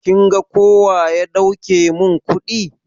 Kin ga kowa ya dauke min kuɗi?